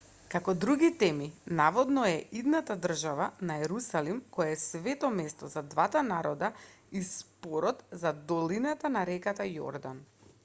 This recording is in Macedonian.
како други теми наводно е идната држава на ерусалим кој е свето место за двата народа и спорот за долината на реката јордан